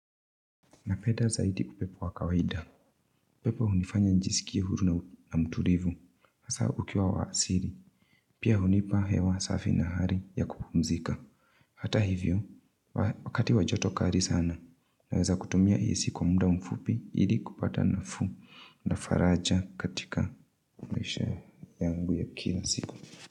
Napeda zaidi upepo wa kawaida. upepo hunifanya nijisikia huru na mtulivu. Hasaa ukiwa wa asili. Pia hunipa hewa safi na hari ya kupumzika. Hata hivyo. Wakati wa joto kari sana. Naweza kutumia hii siku wa muda mfupi. Ili kupata nafuu. Na faraja katika mwisho yangu ya kila siku.